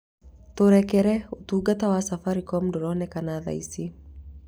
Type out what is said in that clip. Tũrekere, ũtungata wa safaricom ndũronekana thaa ici